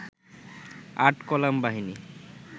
৮ column বাহিনী